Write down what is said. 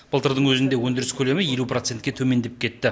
былтырдың өзінде өндіріс көлемі елу процентке төмендеп кетті